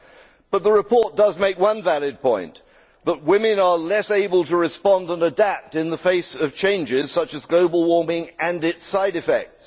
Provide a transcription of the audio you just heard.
However, the report does make one valid point that women are less able to respond and adapt in the face of changes such as global warming and its side effects.